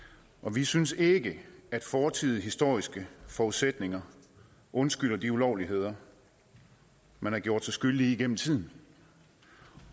vi synes ikke at fortidige historiske forudsætninger undskylder de ulovligheder man har gjort sig skyldig i igennem tiden